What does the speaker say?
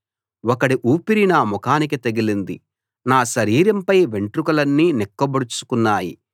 ఒకడి ఊపిరి నా ముఖానికి తగిలింది నా శరీరం పై వెంట్రుకలన్నీ నిక్కబొడుచుకున్నాయి